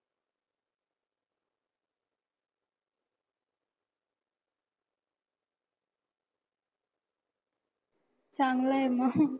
चांगलं आहे मग.